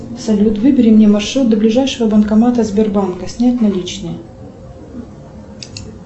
салют выбери мне маршрут до ближайшего банкомата сбербанка снять наличные